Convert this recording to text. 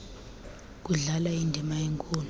kudlala indima enkulu